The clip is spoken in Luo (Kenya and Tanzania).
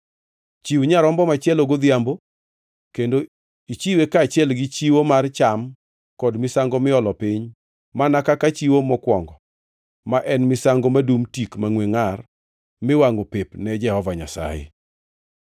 Chiw nyarombo machielo godhiambo kendo ichiwe kaachiel gi chiwo mar cham kod misango miolo piny mana kaka chiwo mokwongo, ma en misango madungʼ tik mangʼwe ngʼar, miwangʼo pep ne Jehova Nyasaye.